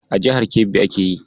A jihar Kebbi ake yi.